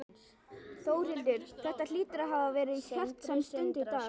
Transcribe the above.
Þórhildur, þetta hlýtur að hafa verið hjartnæm stund í dag?